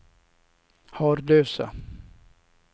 Harlösa